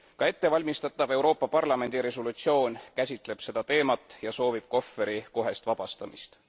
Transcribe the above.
Ettevalmistatav Euroopa Parlamendi resolutsioon käsitleb samuti seda teemat ja soovib Kohveri kohest vabastamist.